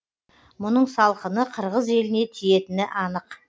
мұның салқыны қырғыз еліне тиетіні анық